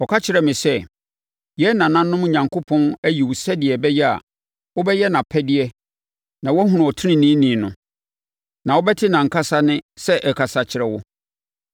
“Ɔka kyerɛɛ me sɛ, ‘Yɛn nananom Onyankopɔn ayi wo sɛdeɛ ɛbɛyɛ a wobɛyɛ nʼapɛdeɛ na woahunu ɔteneneeni no, na wobɛte nʼankasa ne nne sɛ ɛkasa kyerɛ wo.